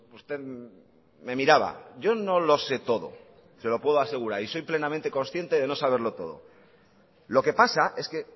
usted me miraba yo no lo sé todo se lo puedo asegurar y soy plenamente consciente de no saberlo todo lo que pasa es que